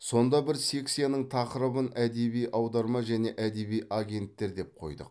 сонда бір секцияның тақырыбын әдеби аударма және әдеби агенттер деп қойдық